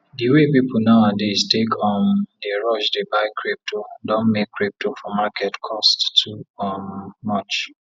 di way people now adays take um dey rush dey buy crypto don make crypo for market cost too um much